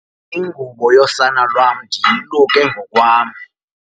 Ingubo yosana lwam ndiyiluke ngokwam.